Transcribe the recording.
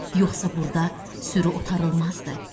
Yoxsa burda sürü otarılmazdı.